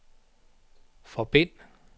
forbind